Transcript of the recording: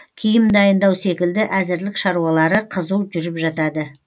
киім дайындау секілді әзірлік шаруалары қызу жүріп жатады